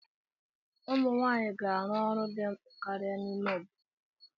Ụmụ nwanyị ga-arụ ọrụ dị mkpa karịa n'ime obodo.